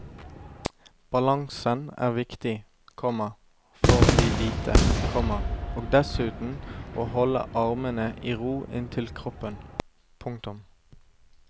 Balansen er viktig, komma får vi vite, komma og dessuten å holde armene i ro inntil kroppen. punktum